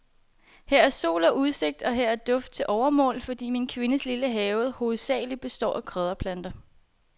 Her er sol og udsigt, og her er duft til overmål, fordi min kvindes lille have hovedsagelig består af krydderplanter.